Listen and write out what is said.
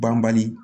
Banbali